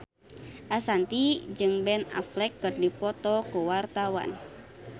Ashanti jeung Ben Affleck keur dipoto ku wartawan